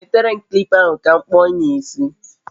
Nwetere m kilipa ahụ ka m kpụọ onye a isi